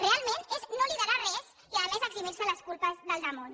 realment és no liderar res i a més eximir se les culpes del damunt